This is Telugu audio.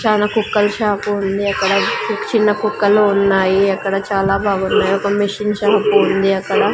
చాలా కుక్కల్ షాపు ఉంది అక్కడ చిన్న కుక్కలు ఉన్నాయి అక్కడ చాలా బాగున్నాయి ఒక మిషన్ షాపు వుంది అక్కడ.